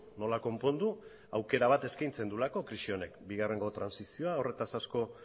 nola konpondu aukera bat eskaintzen duelako krisi honek bigarrengo trantsizioa horretaz asko